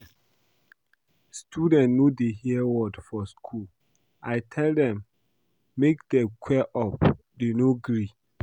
Students no dey hear word for school. I tell dem make dey queue up dey no gree